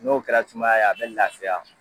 N'o kɛra sumaya ye a bɛ laafiya.